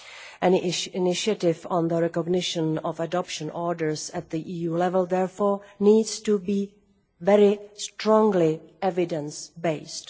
Any initiative on the recognition of adoption orders at EU level therefore needs to be very strongly evidence based.